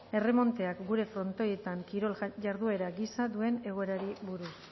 erremonteak gure frontoietan kirol jarduera gisa duen egoerari buruz